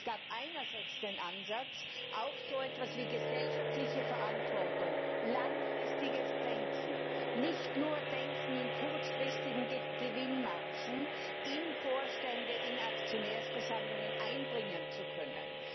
Es gab einerseits den Ansatz, auch so etwas wie gesellschaftliche Verantwortung und langfristiges Denken nicht nur Denken in kurzfristigen Gewinnmargen, in Vorständen, in Aktionärsversammlungen einbringen zu können.